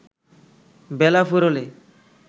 বেলা ফুরোলে